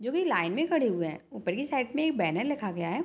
जो की लाइन में खड़े हुए है ऊपर की साइड में एक बैनर लिखा गया है।